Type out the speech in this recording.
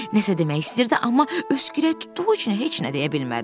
Nəsə demək istəyirdi, amma öskürək tutduğu üçün heç nə deyə bilmədi.